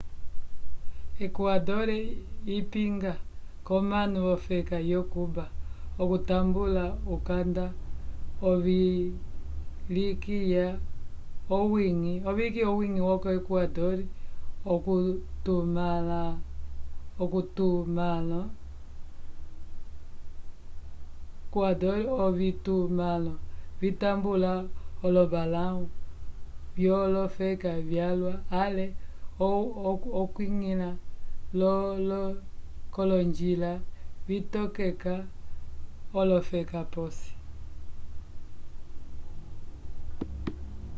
equador ipinga k'omanu v'ofeka yo-cuba okutambula ukanda uvilikiya okwiñgila vo equador k'ovitumãlo vitambula olombalãwu vyolofeka vyalwa ale okwiñgila k'olonjila vitokeka olofeka p'osi